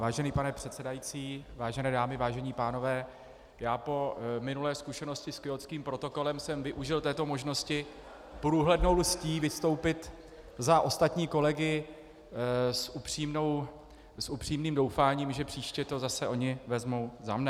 Vážený pane předsedající, vážené dámy, vážení pánové, já po minulé zkušenosti s Kjótským protokolem jsem využil této možnosti průhlednou lstí vystoupit za ostatní kolegy s upřímným doufáním, že příště to zase oni vezmou za mne.